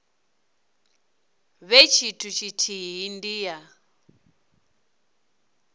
vhe tshithu tshithihi ndi ya